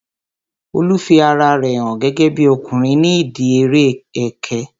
Olu fi ara rẹ hàn gẹ́gẹ́bí ọkùnrin ní ìdíi eré ẹkẹ